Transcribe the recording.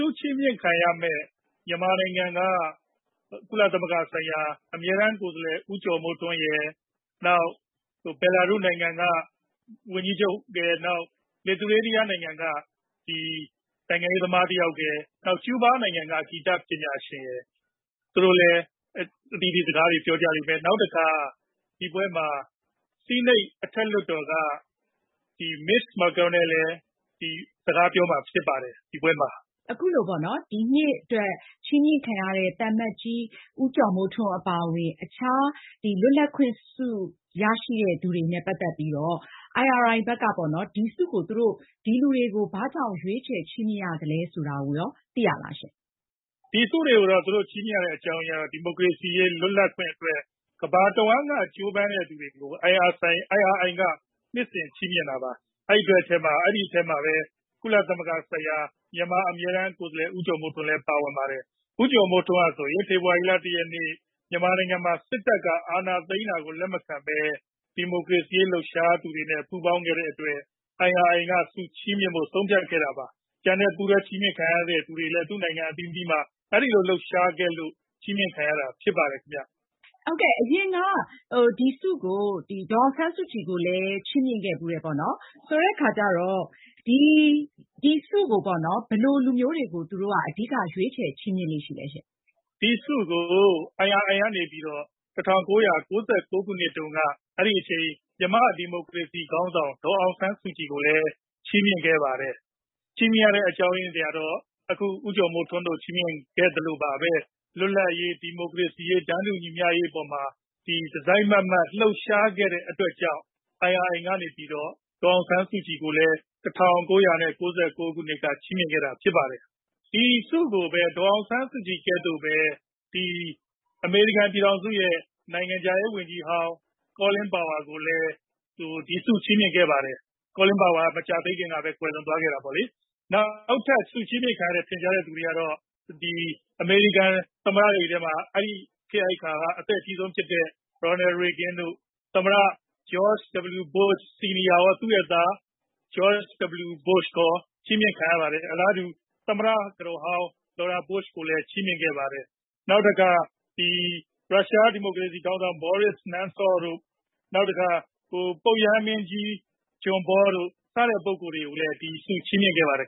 ုချီးမြှင့်ခံရတဲ့ မြန်မာနိုင်ငံက ကုလသမဂ္ဂ ဆိုင်ရာ အမြဲတမ်း ကိုယ်စားလှယ် ဦးကျော်မိုးထွန်းရယ်၊ နောက် ဘဲလာရုစ် နိုင်ငံက ဝန်ကြီးချုပ်ရယ်၊ နောက် Lithuania နိုင်ငံက နိုင်ငံရေးသမား တယောက်ရယ်၊ နောက် ကျူးဘား နိုင်ငံက ဂီတပညာရှင်ရယ် သူတို့လည်း အသီးသီး စကားတွေ ပြောကြလိမ့်မယ်။ ဒီပွဲမှာ ဆီးနိတ် အထက်လွှတ်တော်က Mitch McConnell လည်း စကားပြောမှာ ဖြစ်ပါတယ်။ မအင်ကြင်းနိုင်။ ။ အခုလိုပေါ့နော် ဒီနှစ်အတွက် ချီးမြှင့်ခံရတဲ့ အထဲမှာ သံအမတ်ကြီး ဦးကျော်မိုးထွန်း အပါအဝင် အခြား လွတ်လပ်ခွင်ဆု ရရှိတဲ့ လူတွေနဲ့ ပတ်သက်ပြီးတော့ IRI ဘက်က ဒီဆုတွေကို ဒီလူတွေကို ဘာကြောင့် ရွေးချယ် ချီးမြှင့်ရသလဲ ဆိုတာကိုရော သိရလားရှင့်။ ကိုခင်မောင်စိုးမင်း။ ။ ဒီဆုတွေကို ချီးမြှင့်ရတဲ့ အကြောင်းရင်းကတော့ ဒီမိုကရေစီ လွတ်လပ်ခွင့်တွေအတွက် ကမ္ဘာတဝန်းက ကြိုးပမ်းသူတွေကို IRI က နှစ်စဉ် ချီးမြှင့်တာပါ။ အဲဒီထဲမှာဘဲ ကုလသမဂ္ဂဆိုင်ရာ မြန်မာအမြဲတမ်းကိုယ်စားလှယ် ဦးကျော်မိုးထွန်းလည်း ပါဝင်ပါတယ်။ ဦးကျော်မိုးထွန်းဟာ ဆိုရင် ဖေဖော်ဝါရီလ ၁ ရက် မြန်မာနိုင်ငံမှာ စစ်တပ်က အာဏာသိမ်းတာကို လက်မခံဘဲ ဒီမိုကရေစီရေး လှုပ်ရှားသူတွေနဲ့ ပူးပေါင်းခဲ့တဲ့ အတွက် IRI က ဆုချီးမြှင့်ဖို့ ဆုံးဖြတ်ခဲ့တာ ဖြစ်ပါတယ်။ ကျန်တဲ့ ပူးတွဲ ဆုချီးမြှင့်ခံရသူတွေလည်း သူ့နိုင်ငံ အသီးသီးမှာ အဲဒီလို လှုပ်ရှားခဲ့လို့ ချီးမြှင့်ခံရတာ ဖြစ်ပါတယ်။ မအင်ကြင်းနိုင်။ ။ အရင်က ဒီဆုကို ဒေါ်အောင်ဆန်းစုကြည်ကိုလည်း ချီးမြှင့်ခဲ့ဖူးတယ်ပေါ့နော်။ ဆိုတော့ ဒီဆုကို ဘယ်လို လူမျိုးတွေကို သူတို့က ရွေးချယ် ချီးမြှင့်လေ့ ရှိလဲရှင့်။ ကိုခင်မောင်စိုးမင်း။ ။ ဒီဆုကို IRI ကနေ ၁၉၉၉ ခုနှစ်တုန်းက အဲဒီအချိန် မြန်မာ့ ဒီမိုကရေစီ ခေါင်းဆောင် ဒေါ်အောင်ဆန်းစုကြည်ကိုလည်း ချီးမြှင့်ခဲ့ပါတယ်။ ချီးမြှင့်ခဲ့ရတဲ့ အကြောင်းရင်းကတော့ အခု ဦးကျော်မိုးထွန်းတို့ကို ချီးမြှင့်ခဲ့သလိုဘဲ လွတ်လပ်ရေး၊ ဒီမိုကရေစီရေး၊ တန်းတူ ညီမျှရေး အပေါ်မှာ တစိုက်မတ်မတ် လှုပ်ရှားခဲ့တဲ့ အတွက်ကြောင့် IRI က နေပြီးတော့ ဒေါ်အောင်ဆန်းစုကြည်ကိုလည်း ၁၉၉၉ ခုနှစ်က ချီးမြှင့်ခဲ့တာ ဖြစ်ပါတယ်။ ဒီဆုကိုဘဲ ဒေါ်အောင်ဆန်းစုကြည် နည်းတူ အမေရိကန် ပြည်ထောင်စုရဲ့ နိုင်ငံခြားရေါ် ဝန်ကြီးဟောင်း Colin Powell ကိုလည်း ဒီဆု ချီးမြှင့်ခဲ့ပါတယ်။ Colin Powell က မကြာသေးခင်ကဘဲ ကွယ်လွန်သွားခဲ့တာပေါ့လေ။ နောက်ထပ် ဆုချီးမြှင့်ခံရတဲ့ ထင်ရှားတဲ့ သူတွေထဲမှာတော့ အမေရိကန် သမ္မတတွေထဲက အဲဒီခေတ် အဲဒီ အခါက အသက်အကြီးဆုံး ဖြစ်တဲ့ Ronald Reagan တို့၊ နောက် George W Bush Sr. ရော၊ နောက် သူ့ရဲ့ သား George W Bush ရော ချီးမြှင့်ခံရပါတယ်။ အလားတူ သမ္မတကတော်ဟောင်း Laura Bush ကိုလည်း ချီးမြှင့်ခဲ့ပါတယ်။ နောက်တခါ ရုရှားဒီမိုကရေစီခေါင်းဆောင် ဘောရစ် နမ်ဆော့ဗ်၊ ပုပ်ရဟန်းမင်းကြီး ဒုတိယမြောက် ဂျွန်ပေါ တို့ စတဲ့ ပုဂ္ဂိုလ်တွေကိုလည်း ဒီဆု ချီးမြှင့်ခဲ့ပါတယ်